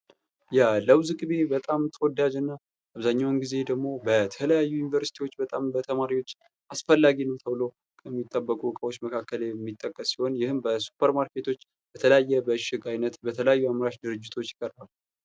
የለውዝ ቅቤ በጣም ተወዳጅ እና አብዛኛውን ጊዜ ደግሞ በተለያዩ ዩኒቨርስቲዎች በጣም በተማሪዎች አስፈላጊ ነው ተብሎ ከሚጠበቁ እቃዎች መካከል የሚጠቀስ ሲሆን ይህም በሱፐር ማርኬቶች በተለያየ በእሽግ አይነት አምራች ድርጅቶች።